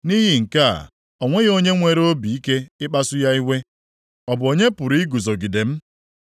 Nʼihi nke a, o nweghị onye nwere obi ike ịkpasu ya iwe. Ọ bụ onye pụrụ iguzogide m?